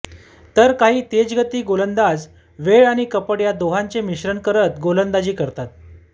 तर काही तेजगती गोलंदाज वेळ आणि कपट या दोहोंचे मिश्रण करत गोलंदाजी करतात